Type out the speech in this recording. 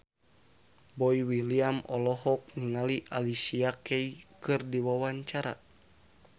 Boy William olohok ningali Alicia Keys keur diwawancara